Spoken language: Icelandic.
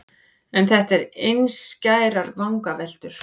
En þetta eru einskærar vangaveltur.